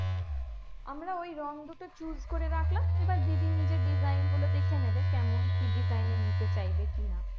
আমরা ওই রং দুটো choose করে রাখলাম এবার দিদি নিজে design গুলো দেখে নেবে কেমন কি design এর নিতে চাইবে কি না